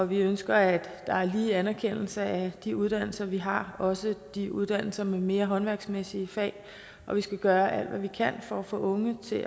vi ønsker at der er lige anerkendelse af de uddannelser vi har også de uddannelser med mere håndværksmæssige fag vi skal gøre alt hvad vi kan for at få unge til